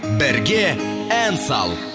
бірге ән сал